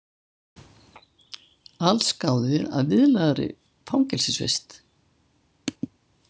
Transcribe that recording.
Allsgáðir að viðlagðri fangelsisvist